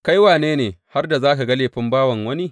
Kai wane ne har da za ka ga laifin bawan wani?